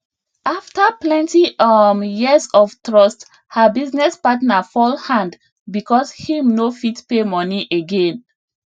after plenty um years of trust her business partner fall hand because him no fit pay money again